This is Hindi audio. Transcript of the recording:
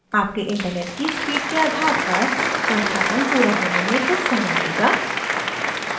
आपके इन्टरनेट की स्पीड के आधार पर संस्थापन पूरा होने में कुछ समय लेगा